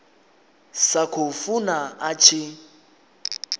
sa khou funa a tshi